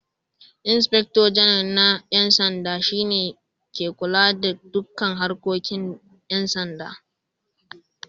Inspector Janarnal na 'Yan Sanda shi ne ke kula da dukkan harkokin 'yan sanda